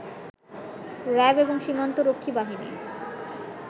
RAB এবং সীমান্তরক্ষী বাহিনী